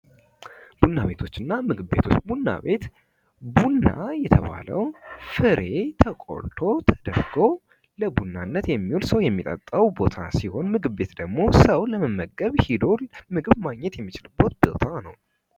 ቡና ቤቶች እና ምግብ ቤቶች ፦ ቡና ቤት ፦ ቡና የተባለው ፍሬ ተቆልቶ ተቆልቶ ለቡናነት የሚውል ሰው የሚጠጣው ቦታ ሲሆን ምግብ ቤት ደግሞ ሰው ለመመገብ ሄዶ ምግብ ማግኘት የሚችልበት ቦታ ነው ።